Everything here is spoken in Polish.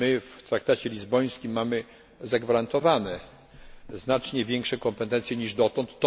W traktacie lizbońskim zagwarantowano nam znacznie większe kompetencje niż dotąd.